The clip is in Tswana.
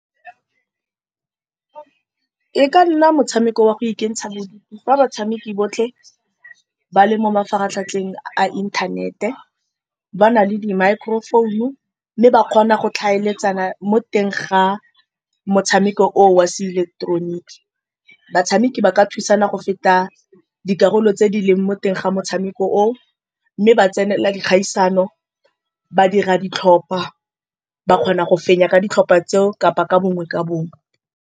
E ka nna motshameko wa go ikentsha bodutu, fa batshameki botlhe ba le mo mafaratlhatlheng a inthanete. Ba na le di-microphone, mme ba kgona go tlhaeletsana mo teng ga motshameko oo wa seileketeroniki. Batshameki ba ka thusana go feta dikarolo tse di leng mo teng ga motshameko oo, mme ba tsenela dikgaisano, ba dira ditlhopha, ba kgona go fenya ka ditlhopha tseo kapa ka bongwe ka bongwe.